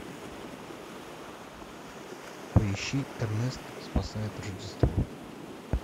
поищи эрнест спасает рождество